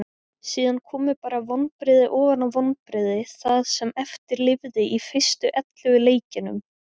Síðan komu bara vonbrigði ofan á vonbrigði það sem eftir lifði í fyrstu ellefu leikjunum.